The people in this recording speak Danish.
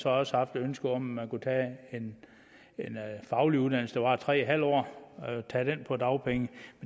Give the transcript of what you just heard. også haft et ønske om at man kunne tage en faglig uddannelse der varer tre en halv år på dagpenge